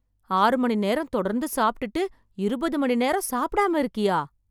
ஆறு மணி நேரம் தொடர்ந்து சாப்ட்டுட்டு, இருபது மணி நேரம் சாப்டாம இருக்கியா...